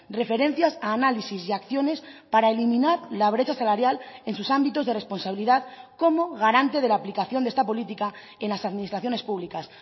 referencias a análisis y acciones para eliminar la brecha salarial en sus ámbitos de responsabilidad como garante de la aplicación de esta política en las administraciones públicas